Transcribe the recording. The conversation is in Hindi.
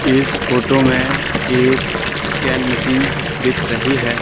इस फोटो में एक कैन मशीन दिख रही है।